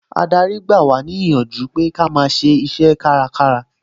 Adarí ń gba wá níyànjú pé kí a máa ṣiṣẹ́ kárakára